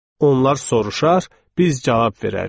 Onlar soruşar, biz cavab verərdik.